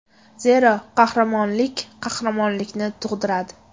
Zero, qahramonlik qahramonlikni tug‘diradi.